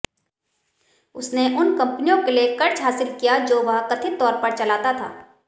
उसने उन कंपनियों के लिए कर्ज हासिल किया जो वह कथित तौर पर चलाता था